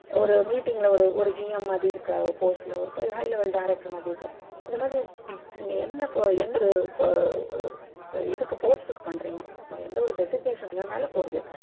ஒரு meeting ல ஒரு GM மாதிரி ஒரு post இருக்கற ஒரு high level director மாதிரி இருக்கற ஒரு இது இந்த மாதிரி நீங்க என்ன பப அஹ் post டுக்கு பண்றீங்க அப்பிடீன்னுட்டு ஒரு designation மேல போருது.